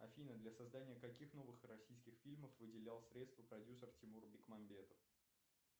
афина для создания каких новых российских фильмов выделял средства продюсер тимур бекмамбетов